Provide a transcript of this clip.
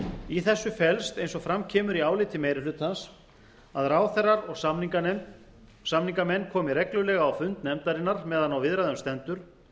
í þessu felst eins og fram kemur í áliti meiri hlutans að ráðherrar og samningamenn komi reglulega á fund nefndarinnar meðan á viðræðum stendur